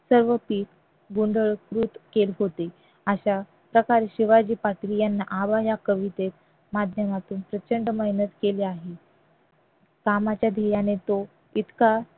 सगळं पीक गोंधळकृत केले होते अशा प्रकारे शिवाजी याना आबा या कवितेच्या माध्यमातून प्रचंड मेहनत केली आहे कामाच्या धिऱ्याने तो इतका